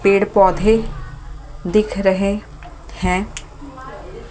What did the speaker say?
पेड़-पौधे दिख रहे हैं ।